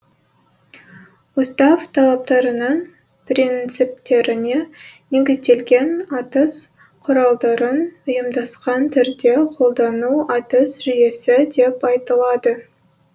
устав талаптарының принциптеріне негізделген атыс құралдарын ұйымдасқан түрде қолдану атыс жүйесі деп айтылады